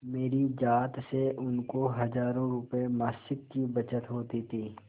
मेरी जात से उनको हजारों रुपयेमासिक की बचत होती थी